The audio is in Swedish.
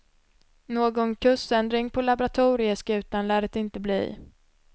Någon kursändring på laboratorieskutan lär det inte bli.